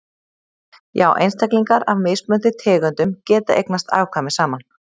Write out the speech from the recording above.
já einstaklingar af mismunandi tegundum geta eignast afkvæmi saman